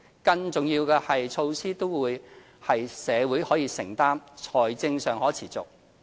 最重要是，措施都是社會可承擔、財政上可持續。